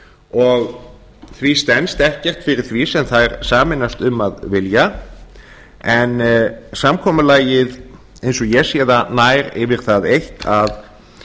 og því stenst ekkert fyrir því sem þær sameinast um að vilja en samkomulagið eins og ég sé það nær yfir það eitt að